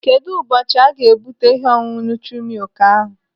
Kedụ ụbọchị aga-ebute ihe ọṅụṅụ nutri-milk ahụ?